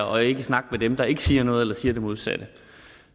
og ikke snakke med dem der ikke siger noget eller siger det modsatte